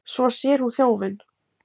Svo sér hún þjófinn.